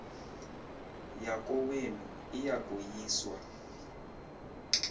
yakowenu iya koyiswa